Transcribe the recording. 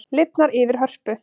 Lifnar yfir Hörpu